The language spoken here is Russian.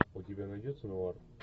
у тебя найдется нуар